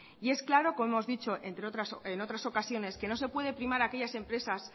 y es claro como hemos dicho en otras ocasiones que no se puede primar aquellas empresas